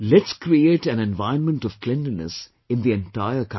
Let's create an environment of cleanliness in the entire country